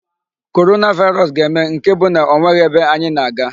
Coronavirus ga-eme nke bụ na ọ nweghi ebe anyị na-aga.